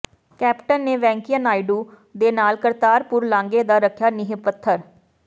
captain ਨੇ ਵੈਂਕਈਆ ਨਾਇਡੂ ਦੇ ਨਾਲ ਕਰਤਾਰਪੁਰ ਲਾਂਘੇ ਦਾ ਰੱਖਿਆ ਨੀਂਹ ਪੱਥਰ